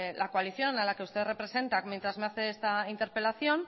la coalición a la que usted representa mientras me hace esta interpelación